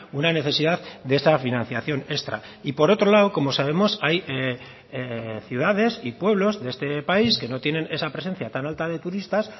una necesidad de esta financiación extra y por otro lado como sabemos hay ciudades y pueblos de este país que no tienen esa presencia tan alta de turistas